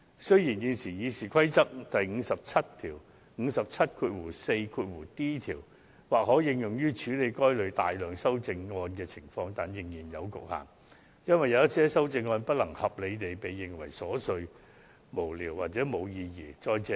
雖然，現時《議事規則》第 574d 條或可應用於處理該類大量修正案的情況，但仍然有所局限，因為有某些修正案難以合理地裁定為瑣屑無聊或無意義。